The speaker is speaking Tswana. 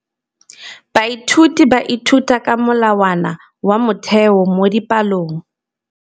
Baithuti ba ithuta ka molawana wa motheo mo dipalong.